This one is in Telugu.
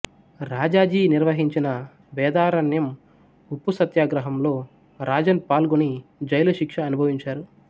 రాజాజీ నిర్వహించిన వేదారణ్యం ఉప్పు సత్యాగ్రహంలో రాజన్ పాల్గొని జైలు శిక్ష అనుభవించారు